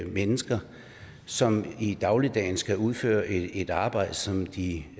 mennesker som i dagligdagen skal udføre et arbejde som de